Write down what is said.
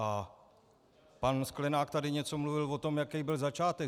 A pan Sklenák tady něco mluvil o tom, jaký byl začátek.